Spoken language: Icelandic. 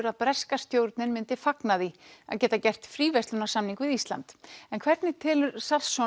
að breska stjórnin myndi fagna því að geta gert fríverslunarsamning við Ísland en hvernig telur